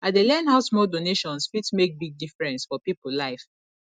i dey learn how small donations fit make big difference for people life